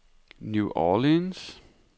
New Orleans